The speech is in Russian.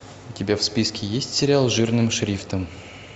у тебя в списке есть сериал жирным шрифтом